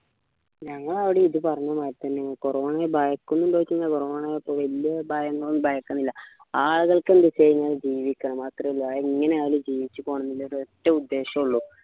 ഞങ്ങള അവിടെയും ഇത് പറഞ്ഞ മാതിരി തന്നെയാണ് corona ഭയക്കുന്നുണ്ടോ ചോയ്ച്ച corona നെ വലിയ ഭയങ്ങളോ ഭയക്കണില്ല ആളുകൾക്ക് എന്താന്ന് വെച്ചാ ജീവിക്കണം അത്രയേ ഇള്ളൂ അതെങ്ങനെയായാലും ജീവിച്ചുപോണം എന്ന ഒരൊറ്റ ഉദ്ദേശമേ ഉള്ളു